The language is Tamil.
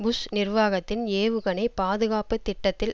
புஷ் நிர்வாகத்தின் ஏவுகணை பாதுகாப்பு திட்டத்தில்